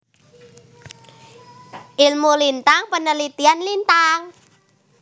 Ilmu Lintang penelitian Lintang